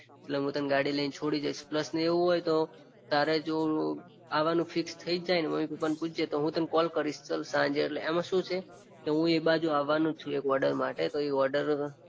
એટલે હું તને ગાડીમાં છોડી દઈશ એવું હોય ને તો તારે જો અવાનૂ ફિક્સ થઈજ જાયને મમ્મી પપ્પાને પુછજે તો હું તને કોલ કરીશ ચાલ સાંજે એમાં શું છે હું એ બાજુ અવાનો જ છું એક ઓર્ડર માટે તો એ ઓર્ડર